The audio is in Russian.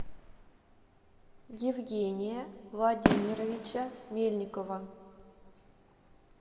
евгения владимировича мельникова